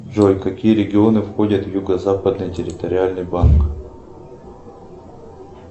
джой какие регионы входят в юго западный территориальный банк